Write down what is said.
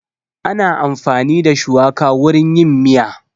Ana amfani da shuwaka wurin yin miya